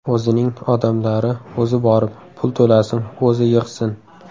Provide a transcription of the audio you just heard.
O‘zining odamlari, o‘zi borib, pul to‘lasin, o‘zi yig‘sin.